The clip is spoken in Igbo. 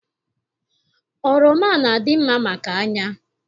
Oroma na- adị mma maka anya